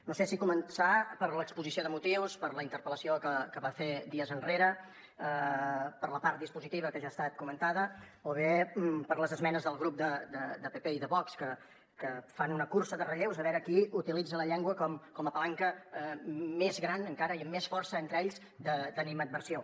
no sé si començar per l’exposició de motius per la interpel·lació que va fer dies enrere per la part dispositiva que ja ha estat comentada o bé per les esmenes del grup de pp i de vox que fan una cursa de relleus a veure qui utilitza la llengua com a palanca més gran encara i amb més força entre ells d’animadversió